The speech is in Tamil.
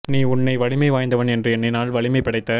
நீ உன்னை வலிமை வாய்ந்தவன் என்று எண்ணினால் வலிமை படைத்த